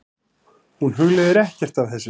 Hún hugleiðir ekkert af þessu.